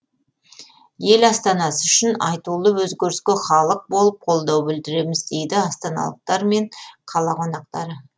ел астанасы үшін айтулы өзгеріске халық болып қолдау білдіреміз дейді астаналықтар мен қала қонақтары